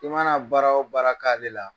I mana baara o baara k'ale la